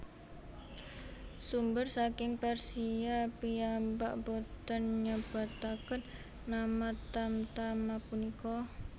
Sumber saking Persia piyambak boten nyebataken nama tamtama punika